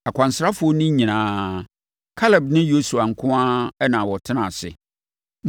Akwansrafoɔ no nyinaa, Kaleb ne Yosua nko ara na wɔtenaa ase.